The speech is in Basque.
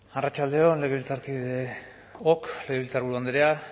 arratsalde on legebiltzarkideok legebiltzarburu andrea